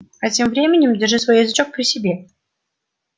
а тем временем держи свой язычок при себе